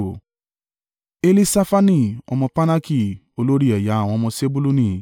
Elisafani ọmọ Parnaki, olórí ẹ̀yà àwọn ọmọ Sebuluni;